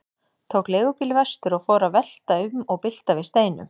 Tók leigubíl vestur og fór að velta um og bylta við steinum.